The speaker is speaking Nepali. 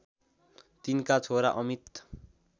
तिनका छोरा अमित